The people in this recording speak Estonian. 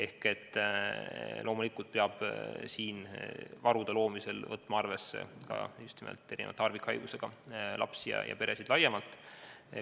Nii et loomulikult peab varude loomisel võtma arvesse ka erisuguste harvikhaigustega lapsi ja nende peresid laiemalt.